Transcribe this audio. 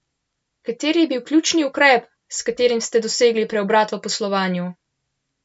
Kateri je bil ključni ukrep, s katerim ste dosegli preobrat v poslovanju?